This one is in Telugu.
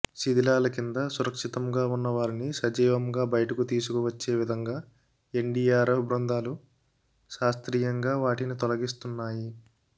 శిథిలాల కింద సురక్షితంగా ఉన్న వారిని సజీవంగా బయటకు తీసుకు వచ్చే విధంగా ఎన్డీఆర్ఎఫ్ బృందాలు శాస్త్రీయంగా వాటిని తొలగిస్తున్నాయి